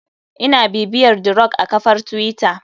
Ina bibiyar the rock a kafar twitter.